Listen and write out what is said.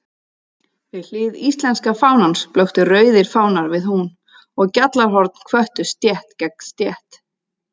Við hlið íslenska fánans blöktu rauðir fánar við hún, og gjallarhorn hvöttu stétt gegn stétt.